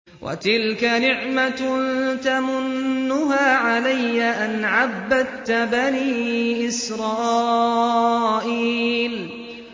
وَتِلْكَ نِعْمَةٌ تَمُنُّهَا عَلَيَّ أَنْ عَبَّدتَّ بَنِي إِسْرَائِيلَ